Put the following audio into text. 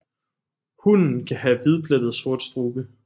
Hunnen kan have hvidplettet sort strube